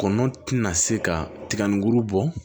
Kɔnɔntɔn na se ka tiga nin kuru bɔ